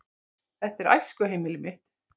Þetta er æskuheimili mitt.